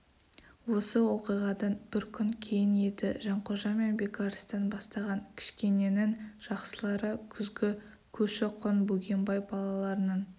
осы оқиғадан бір күн кейін еді жанқожа мен бекарыстан бастаған кішкененің жақсылары күзгі көші-қон бөгенбай балаларының